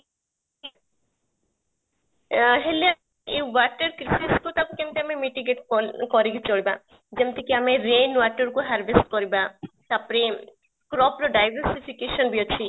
ହେଲେ ଅ ଏ water crisis କୁ ଆମେ କେମିତି ଆମେ କରିକି ଚଳିବା ଯେମିତ କି ଆମେ rain water କୁ harvest କରିବା, ତାପରେ crop ର diversification ବି ଅଛି